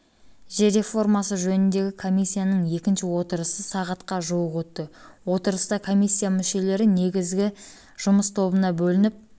жер реформасы жөніндегі комиссияның екінші отырысы сағатқа жуық өтті отырыста комиссия мүшелері негізгі жұмыс тобына бөлініп